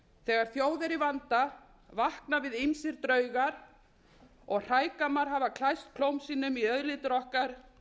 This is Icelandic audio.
þegar þjóð er í vanda vakna við ýmsir draugar og hrægammar hafa læst klóm sínum í auðlindir okkar